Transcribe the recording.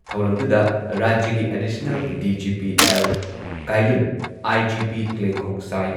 ꯊꯧꯔꯝꯗꯨꯗ ꯔꯥꯖ꯭ꯌꯒꯤ additional DGP. L. Kailun, IGP clay ꯈꯣꯡꯁꯥꯢ